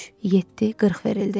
Üç, yeddi, qırx verildi.